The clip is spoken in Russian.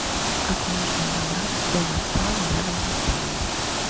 как можно добраться до вокзала рядом с отелем